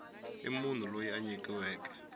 hi munhu loyi a nyikiweke